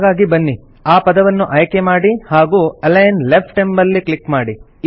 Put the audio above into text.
ಹಾಗಾಗಿ ಬನ್ನಿ ಆ ಪದವನ್ನು ಆಯ್ಕೆ ಮಾಡಿ ಹಾಗೂ ಅಲಿಗ್ನ್ ಲೆಫ್ಟ್ ಎಂಬಲ್ಲಿ ಕ್ಲಿಕ್ ಮಾಡಿ